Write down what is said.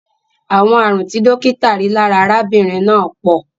Àwọn ààrùn tí dókítà rí lára arábìnrin náà pọ̀.